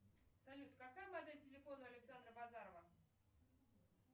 салют какая модель телефона у александра базарова